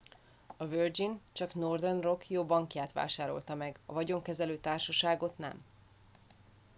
a virgin csak northern rock jó bankját vásárolta meg a vagyonkezelő társaságot nem